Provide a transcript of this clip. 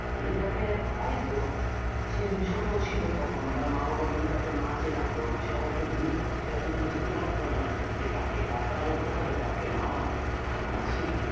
যদি তাকে হয়তো সে যদি ছোট ছিল তখন তার মা-বাবা যদি তাকে না চেনাতো সে হয়তো বুঝতে পারত না যে কাকে কাকা বলতে হবে তাকে মামা ও কাকে মাসি